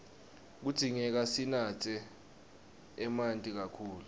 kudzingeka sinatse emanti kakhulu